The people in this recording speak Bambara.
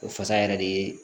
O fasa yɛrɛ de ye